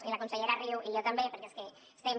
i la consellera riu i jo també perquè és que estem